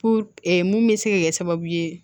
Fo mun bɛ se ka kɛ sababu ye